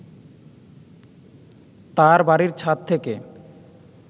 তাঁর বাড়ীর ছাদ থেকে